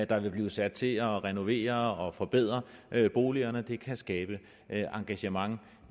der vil blive sat til at renovere og forbedre boligerne det kan skabe engagement